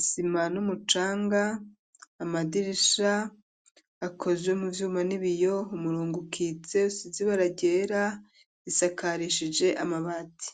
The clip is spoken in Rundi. isima n'umucanga, amadirisha akozwe mu vyuma, n'ibiyo, umurongo ukitse, usize ibara ryera, isakarishije amabati.